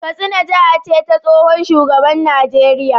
Katsina jiha ce ta tsohon shugaban Najeriya